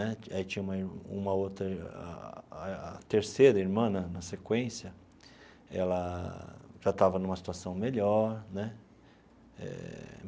Né aí tinha uma uma outra, a terceira irmã né, na sequência, ela já estava numa situação melhor né eh.